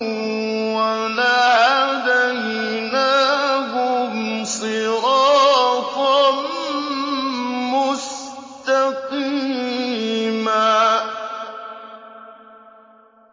وَلَهَدَيْنَاهُمْ صِرَاطًا مُّسْتَقِيمًا